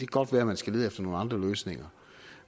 godt være man skal lede efter nogle andre løsninger